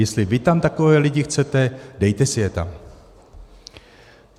Jestli vy tam takové lidi chcete, dejte si je tam.